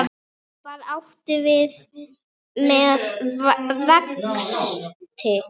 Hvað áttu við með vexti?